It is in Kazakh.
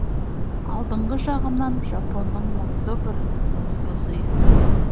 алдыңғы жағымнан жапонның мұнды бір музыкасы естіледі